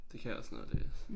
Det kan også noget at læse